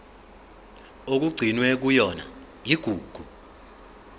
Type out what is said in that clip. okugcinwe kuyona igugu